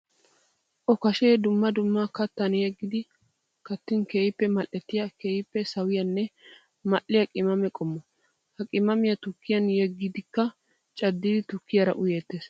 Okkashshe dumma dumma kattan yeggiddi kattin keehippe mali'ettiya keehippe sawiyanne mali'iya qimaamme qommo. Ha qimaammiya tukkiyan yeggiddikka cadiddi tukkiyara uyeetes.